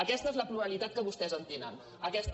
aquesta és la pluralitat que vostès entenen aquesta